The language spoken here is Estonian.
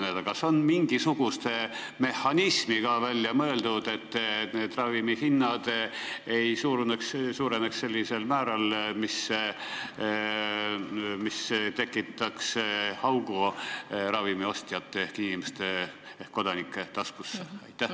Kas on välja mõeldud mingisugune mehhanism, et ravimihinnad ei tõuseks sellisel määral, mis tekitaks augu ravimiostjate ehk inimeste ehk kodanike taskusse?